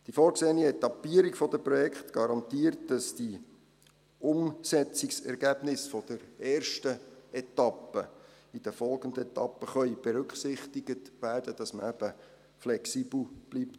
Die vorgesehene Etappierung der Projekte garantiert, dass die Umsetzungsergebnisse der ersten Etappe in den folgenden Etappen berücksichtigt werden können, damit man eben flexibel bleibt.